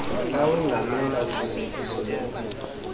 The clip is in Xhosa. awongamele ufezekiso lweenkqubo